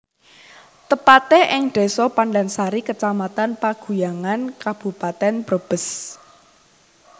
Tepate ing Desa Pandansari Kecamatan Paguyangan Kabupaten Brebes